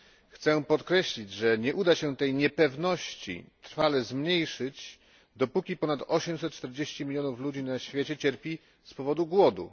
Chciałbym podkreślić, że nie uda się tej niepewności trwale zmniejszyć, dopóki ponad 840 milionów ludzi na świecie cierpi z powodu głodu.